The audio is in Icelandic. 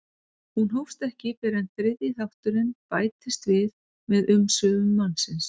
Hún hófst ekki fyrr en þriðji þátturinn bætist við með umsvifum mannsins.